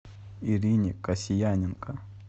ирине касьяненко